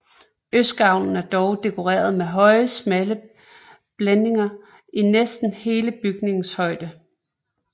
Østgavlen er dog dekoreret med høje smalle blændinger i næsten hele bygningens højde